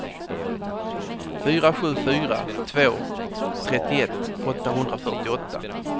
fyra sju fyra två trettioett åttahundrafyrtioåtta